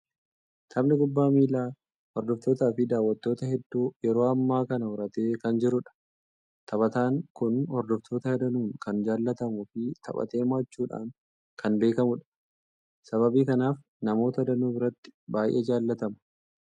Taphni kubbaa miilaa hordoftootaa fi daawwattoota hedduu yeroo ammaa kana horatee kan jirudha. Taphataan kun hordoftoota danuun kan jaalatamuu fi taphatee moo'achuudhaan kan beekamudha. Sababii kanaaf namoota danuu biratti baay'ee jaalatama!